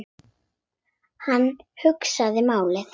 Hann hugsaði málið.